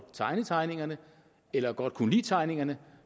tegne tegningerne eller godt kunne lide tegningerne